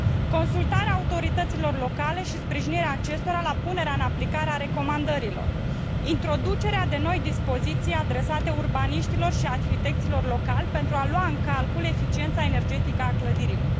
Consultarea autorităților locale și sprijinirea acestora la punerea în aplicare a recomandărilor, introducerea de noi dispoziții adresate urbaniștilor și arhitecților locali pentru a lua în calcul eficiența energetică a clădirilor.